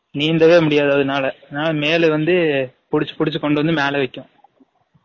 நீந்தவே முடியாது அதுனால male வந்து புடிச்சு புடிச்சு கொண்டு வந்து மேல வைக்கும்